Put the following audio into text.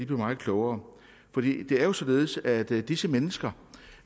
blev meget klogere det er jo således at det for disse mennesker